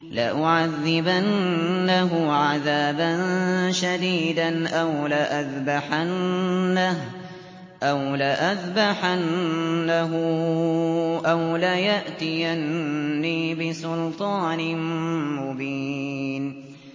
لَأُعَذِّبَنَّهُ عَذَابًا شَدِيدًا أَوْ لَأَذْبَحَنَّهُ أَوْ لَيَأْتِيَنِّي بِسُلْطَانٍ مُّبِينٍ